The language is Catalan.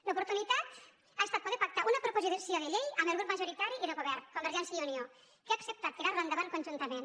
l’oportunitat ha estat poder pactar una proposi·ció de llei amb el grup majoritari i de govern con·vergència i unió que ha acceptat tirar·la endavant conjuntament